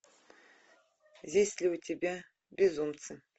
есть ли у тебя безумцы